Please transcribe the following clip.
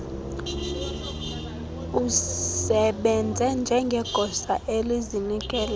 usebenze njengegosa elizinikeleyo